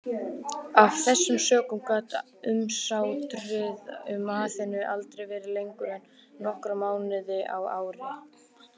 Af þessum sökum gat umsátrið um Aþenu aldrei varað lengur en nokkra mánuði á ári.